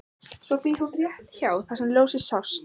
Svo býr hún rétt hjá þar sem ljósið sást.